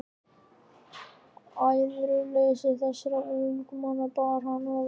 Æðruleysi þessara almúgamanna bar hann ofurliði.